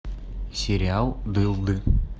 сериал дылды